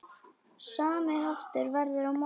Sami háttur verður á morgun.